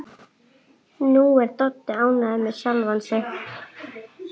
Nú er Doddi ánægður með sjálfan sig.